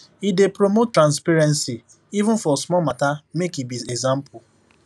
e dey promote transparency even for small matter make e be example